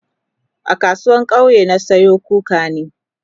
a kasuwan kauye na Sayo kukani